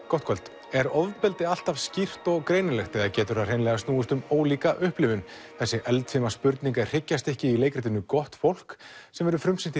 gott kvöld er ofbeldi alltaf skýrt og greinilegt eða getur það hreinlega snúist um ólíka upplifun þessi eldfima spurning er hryggjarstykkið í leikritinu gott fólk sem frumsýnt